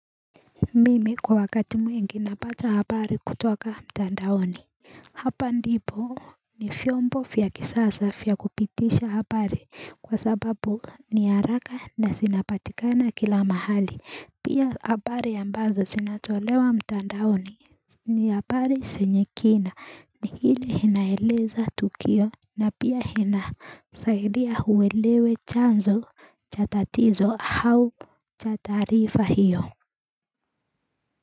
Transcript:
Mimi kwa wakati mwingi napata habari kutoka mtandaoni Hapa ndipo ni vyombo vya kisasa vya kupitisha habari kwa sababu ni haraka na zinapatikana kila mahali pia habari ambazo sinatolewa mtandaoni ni habari zenye kina ni ile inaeleza tukio na pia ina saidia uelewe chanzo cha tatizo au cha taarifa hiyo.